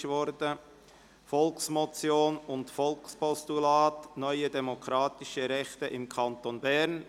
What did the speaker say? Der Titel lautet: «Volksmotion und Volkspostulat – neue demokratische Rechte im Kanton Bern».